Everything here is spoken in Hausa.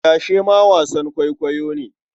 Tashe ma wasan kwaikwayo ne.